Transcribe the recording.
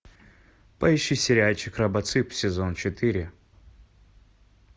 поищи сериальчик робоцып сезон четыре